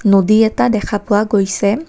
নদী এটা দেখা পোৱা গৈছে।